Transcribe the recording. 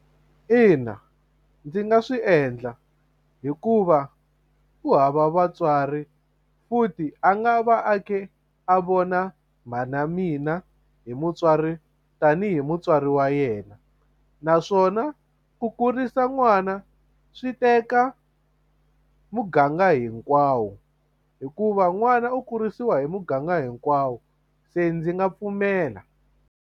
Ina ndzi nga swi endla hikuva u hava vatswari futhi a nga va a ke a vona mhana mina hi mutswari tanihi mutswari wa yena yena naswona u kurisa n'wana swi teka muganga hinkwawo hikuva n'wana u kurisiwa hi muganga hinkwawo se ndzi nga pfumela.